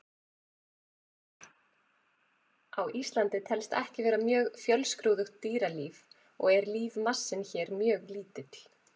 Á Íslandi telst ekki vera mjög fjölskrúðugt dýralíf og er lífmassinn hér mjög lítill.